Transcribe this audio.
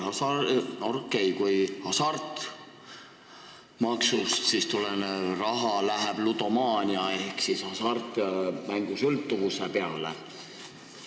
See on okei, kui hasartmängumaksust tulev raha läheb ludomaania ehk hasartmängusõltuvuse ravimise peale.